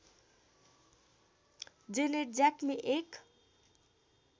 Janet ज्याक्मी एक